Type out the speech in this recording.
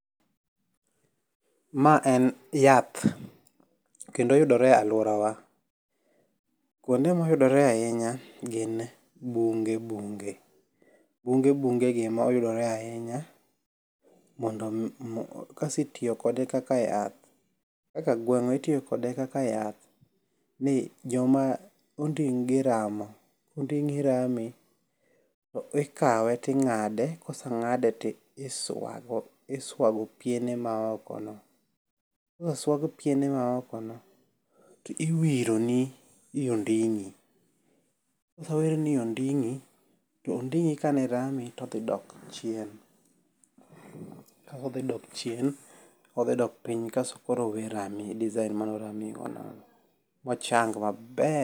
Ma en yath kendo oyudore alworawa. Kuonde moyudore ahinya gin bunge bunge. Bunge bungegi ema oyudore ahinya kasti itiyo kode kaka yath, kaka gweng'wa itiyo kode kaka yath ni joma onding'gi ramo, konding'i rami to ikawe ting'ade koseng'ade tiswago piene maokono. Koseswag piene maokono, tiwironi e onding'i. Kosewirni i onding'i to onding'i ka ne rami to odhi dok chien. Kaodhi dok chien odhidok piny kas koro owe rami design manoramigo no bochang maber.